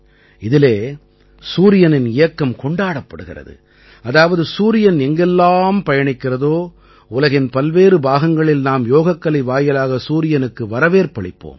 இதிலே சூரியனின் இயக்கம் கொண்டாடப் படுகிறது அதாவது சூரியன் எங்கெல்லாம் பயணிக்கிறதோ உலகின் பல்வேறு பாகங்களில் நாம் யோகக்கலை வாயிலாக சூரியனுக்கு வரவேற்பளிப்போம்